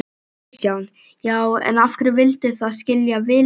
Kristján: Já, en af hverju vildu þið skilja Vilhjálm eftir?